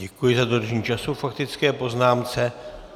Děkuji za dodržení času k faktické poznámce.